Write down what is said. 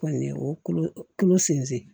Kɔni ye o kolo kolo sen